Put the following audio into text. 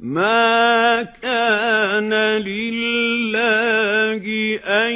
مَا كَانَ لِلَّهِ أَن